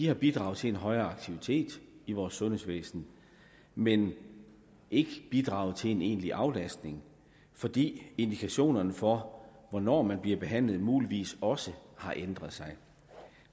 har bidraget til en højere aktivitet i vores sundhedsvæsen men ikke bidraget til en egentlig aflastning fordi indikationerne for hvornår man bliver behandlet muligvis også har ændret sig